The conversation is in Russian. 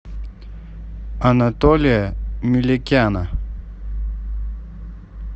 анатолия меликяна